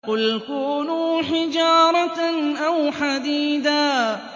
۞ قُلْ كُونُوا حِجَارَةً أَوْ حَدِيدًا